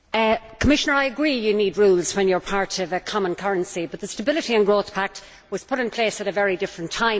Commissioner, I agree you need rules when you are part of a common currency, but the Stability and Growth Pact was put in place at a very different time.